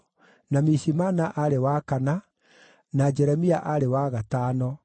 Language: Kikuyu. na Mishimana aarĩ wa kana, na Jeremia aarĩ wa gatano,